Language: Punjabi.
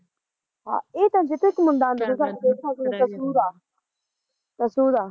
ਹਾਂ ਏ ਤੇਨੂੰ ਚੇਤਾ ਇੱਕ ਸਾਡੇ ਨਾਲ਼ ਮੁੰਡਾ ਹੁੰਦਾ ਤਾਂ ਸਾਡੇ ਨਾਲ਼ ਸੁ ਦਾ ਸੁ ਦਾ